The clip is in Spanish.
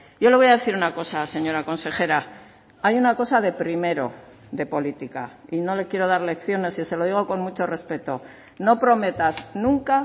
yo le voy a decir una cosa señora consejera hay una cosa de primero de política y no le quiero dar lecciones y se lo digo con mucho respeto no prometas nunca